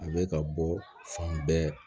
A bɛ ka bɔ fan bɛɛ